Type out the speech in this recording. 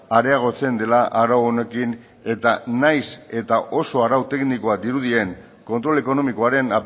areagotzen dela arau honekin eta nahiz eta oso arau teknikoa dirudien kontrol ekonomikoaren